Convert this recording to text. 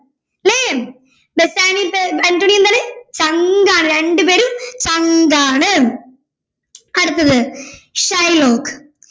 അല്ലെ ബസ്സാനിയോക്ക് അന്റോണിയോയും എന്താണ് ചങ്കാണ് രണ്ടുപേരും ചങ്കാണ് അടുത്തത് ഷൈലോക്ക്